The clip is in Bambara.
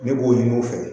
Ne b'o ɲini u fɛ